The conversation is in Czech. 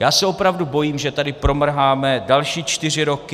Já se opravdu bojím, že tady promrháme další čtyři roky.